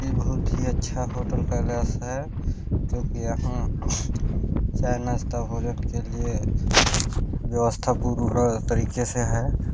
ये बहुत ही अच्छा होटल पैलेस है जो की यहाँ चाय नाश्ता भोजन के लिए व्यवस्था पूरे तरीके से है।